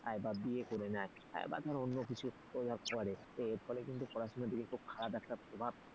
ধর বিয়ে করে নে বা ধর অন্য কিছু করে এর ফলে কিন্তু পড়াশোনায় খারাপ একটা প্রভাব,